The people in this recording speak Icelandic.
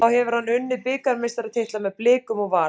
Þá hefur hann unnið bikarmeistaratitla með Blikum og Val.